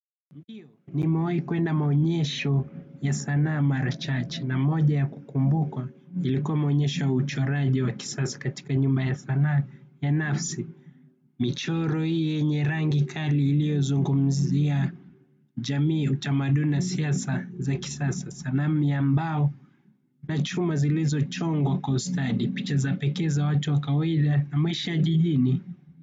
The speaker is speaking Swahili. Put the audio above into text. Ndiyo, nimewahi kwenda maonyesho ya sanaa maracl chache, na moja ya kukumbukwa ilikuwa maonyesho ya uchoraji wa kisasa katika nyumba ya sanaa ya nafsi. Michoro hii yenye rangi kali iliyozungumzia jamii, utamaduni na siasa za kisasa, sanamu ya mbao na chuma zilezochongwa kwa ustadi, picha zapl pekee za watu wa kawaida na maisha jijini.